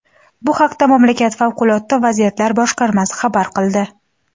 Bu haqda mamlakat favqulodda vaziyatlar boshqarmasi xabar qildi.